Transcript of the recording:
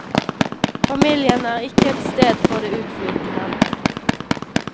Familien er ikke et sted for det utflytende.